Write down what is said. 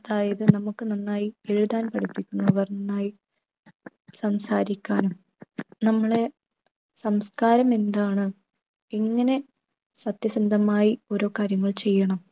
അതായത് നമുക്ക് നന്നായി എഴുതാൻ പഠിപ്പിക്കുന്നവർ നന്നായി സംസാരിക്കാൻ നമ്മളെ സംസ്ക്കാരം എന്താണ്? എങ്ങനെ സത്യസന്ധമായി ഓരോ കാര്യങ്ങൾ ചെയ്യണം?